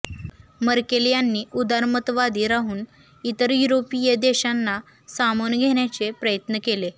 Merkel यांनी उदारमतवादी राहून इतर युरोपीय देशांना सामावून घेण्याचे प्रयत्न केले